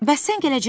Bəs sən gələcəksən?